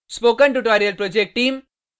spoken tutorial project team